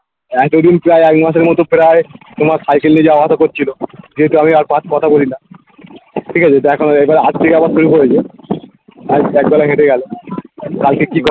এক একদিন কি আর একমাসের মতো প্রায় তোমার cycle নিয়ে যাওয়া আসা করছিলো যেহেতু আমি আর পাঁচ কথা বলিনা ঠিক আছে দেখো না এইবার আজ থেকে আবার শুরু করেছে আজ একবেলা হেঁটে গেলো কালকে কি করে